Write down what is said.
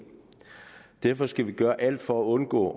derfor skal vi gøre alt for at undgå